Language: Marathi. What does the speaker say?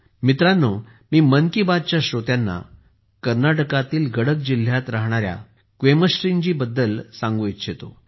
मित्रांनो मी मन की बात च्या श्रोत्यांना कर्नाटकातील गडक जिल्ह्यात राहणार्या क्वेमाश्रीजीबद्दल देखील सांगू इच्छितो